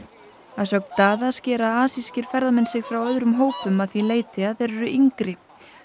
að sögn Daða skera asískir ferðamenn sig frá öðrum hópum að því leyti að þeir eru yngri